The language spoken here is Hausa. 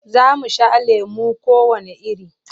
Za mu sha lemo kowanne iri.